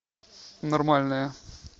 нормальная